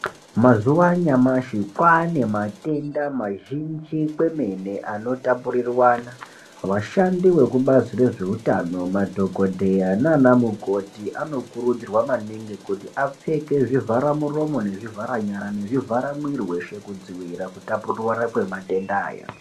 Mazuwa anyamashi kwaane matenda mazhinji kwemene anotapurirwana vashandi vekubazi rezveutano madhokodheya nanamukoti anokurudzirwa maningi kuti apfeke zvivhara muromo nezvivhara nyara nezvivhara mwiri weshe kudziwira kutapurirana kwematenda aya.